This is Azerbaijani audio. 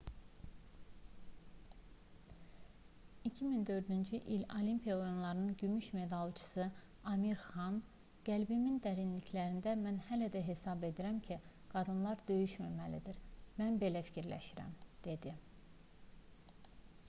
2004-cü il olimpiya oyunlarının gümüş medalçısı amir xan qəlbimin dərinliklərində mən belə hesab edirəm ki qadınlar döyüşməməlidir mən belə fikirləşirəm dedi